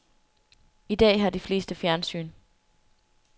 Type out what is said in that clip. I dag har de fleste fjernsyn.